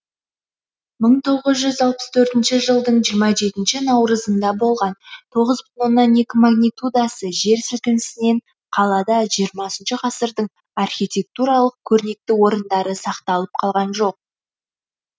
мың тоғыз жүз алпыс төртінші жылдың жиырма жетінші наурызында болған тоғыз бүтін оннан екі магнитудасы жер сілкінісінен қалада жиырмасыншы ғасырдың архитектуралық көрнекті орындары сақталып қалған жоқ